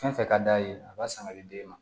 Fɛn fɛn ka d'a ye a b'a san ka di den ma